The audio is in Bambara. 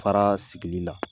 Faraa sigili la